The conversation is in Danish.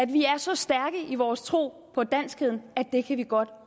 vi er så stærke i vores tro på danskheden at det kan vi godt